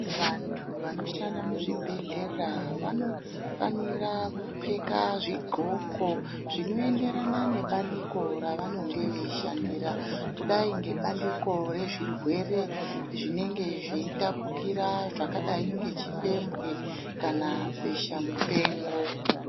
Vantu vanoshanda muzvibhedhlera vanofanira kupfeka zvindxoko zvinoenderana nebandiko ravanenge vechishandira kudai ngebandiko rezvirwere zvinenge zveitapukira zvakadai ngechipembwe kana besha mupengo.